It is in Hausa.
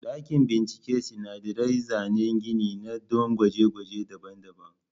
Dakin bincike sinadarai zanen gini ne don gwaje-gwaje daban-daban.